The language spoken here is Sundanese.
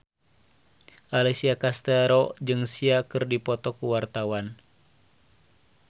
Alessia Cestaro jeung Sia keur dipoto ku wartawan